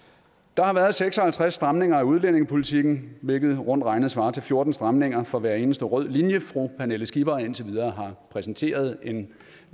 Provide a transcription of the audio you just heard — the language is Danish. der har været seks og halvtreds stramninger af udlændingepolitikken hvilket rundt regnet svarer til fjorten stramninger for hver eneste rød linje fru pernille skipper indtil videre har præsenteret en